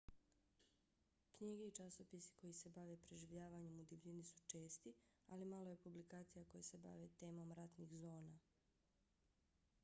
knjige i časopisi koji se bave preživljavanjem u divljini su česti ali malo je publikacija koje se bave temom ratnih zona